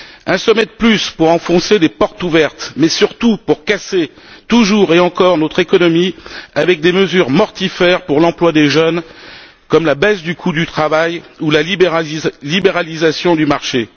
Un sommet de plus pour enfoncer des portes ouvertes mais surtout pour casser toujours et encore notre économie avec des mesures mortifères pour l'emploi des jeunes, comme la baisse du coût du travail ou la libéralisation du marché.